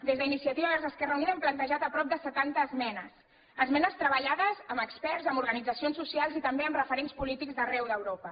des d’iniciativa per catalunya verds esquerra unida hem plantejat prop de setanta esmenes esmenes treballades amb experts amb organitzacions socials i també amb referents polítics d’arreu d’europa